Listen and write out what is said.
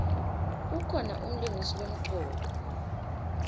kukhona umlingisi lomcoka